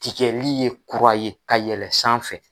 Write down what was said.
Tigɛli ye kura ye ka yɛlɛn sanfɛ